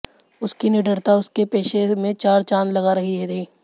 उसकी निडरता उसके पेशे में चार चाँद लगा रही थी